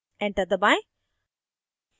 enter दबाएं